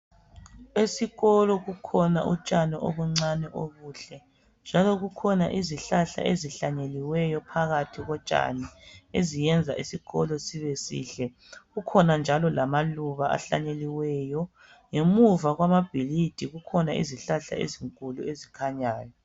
Esikolo kukhona utshani obuncane obuhle, njalo kukhona izihlahla ezihlanyeliweyo phakathi kotshani. Eziyenza isikolo sibesihle. Kukhona njalo amaluba ahlanyeliweyo. Ngemuva kwamabhilidi kukhona izihlahla ezinkulu ezikhanyayo.